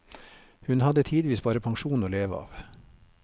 Hun hadde tidvis bare pensjonen å leve av.